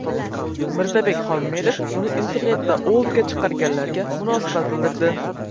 Mirzabek Xolmedov uni internetda o‘ldiga chiqarganlarga munosabat bildirdi .